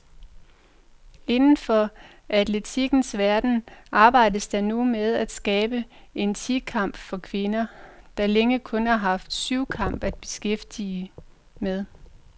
Inden for atletikkens verden arbejdes der nu med at skabe en ti kamp for kvinder, der længe kun har haft syvkamp at beskæftige med.